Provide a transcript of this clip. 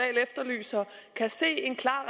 kan se en klar